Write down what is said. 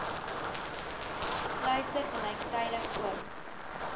sluise gelyktydig oop